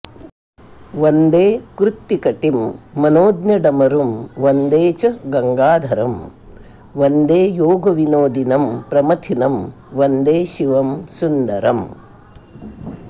वन्दे कृत्तिकटिं मनोज्ञडमरुं वन्दे च गङ्गाधरं वन्दे योगविनोदिनं प्रमथिनं वन्दे शिवं सुन्दरम्